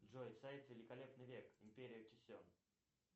джой сайт великолепный век империя кисем